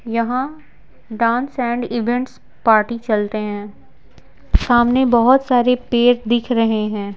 यहाँ dance and events party चलते हैं सामने बहुत सारे पेड़ दिख रहे हैं।